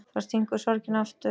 Þá stingur sorgin aftur.